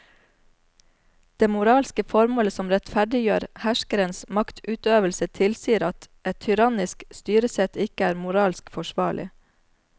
Det moralske formålet som rettferdiggjør herskerens maktutøvelse tilsier at et tyrannisk styresett ikke er moralsk forsvarlig.